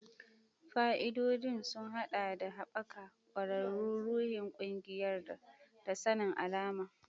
Fa'idodin sun haɗa da haɓaka ƙwararru, ruhin ƙungiyar, da sanin alama.